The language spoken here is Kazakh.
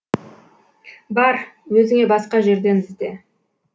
бар өзіңе басқа жерден ізде